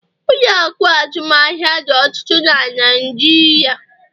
ụlọ akụ azụmaahịa dị ọtụtụ na Naijiria